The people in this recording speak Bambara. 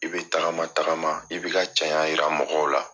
I bɛ tagama tagama i bɛ i ka cɛɲa yira mɔgɔw la.